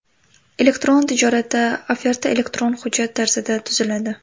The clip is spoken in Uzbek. Elektron tijoratda oferta elektron hujjat tarzida tuziladi.